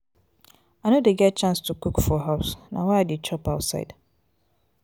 i no dey get chance cook for house na why i dey chop outside.